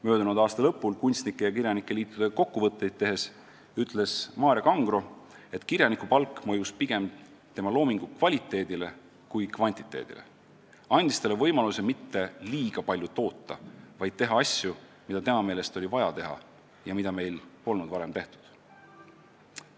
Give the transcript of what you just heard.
Möödunud aasta lõpul kunstnike ja kirjanike liitudega kokkuvõtteid tehes ütles Maarja Kangro, et kirjanikupalk mõjus pigem tema loomingu kvaliteedile kui kvantiteedile, andes talle võimaluse mitte liiga palju toota, vaid teha asju, mida tema meelest oli vaja teha ja mida meil polnud varem tehtud.